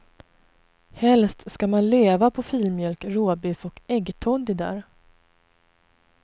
Helst ska man leva på filmjölk, råbiff och äggtoddy där.